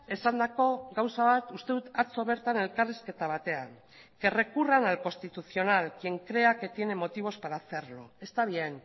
esandako gauza bat uste dut atzo bertan elkarrizketa batean que recurran al constitucional quien crea que tiene motivos para hacerlo está bien